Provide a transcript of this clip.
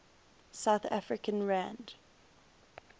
south african rand